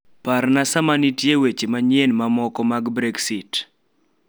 Parna sama nitie maweche manyien mamoko mag brexit